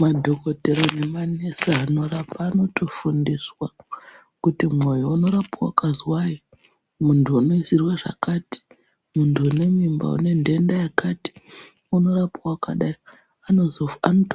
Madhokodhera nemanesi anorapa anotofundiswa kuti, mwoyo unorapwa wakazwai muntu unoisirwe zvakati. Muntu une mimba une nhenda yakati unorapwa wakadai. Anoto